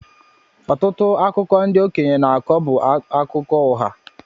Ọtụtụ akụkọ ndị okeñye n'akọ bú akụkọ ụgha.